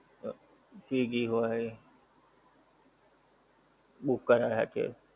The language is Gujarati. swiggy હોય book કરાય છે.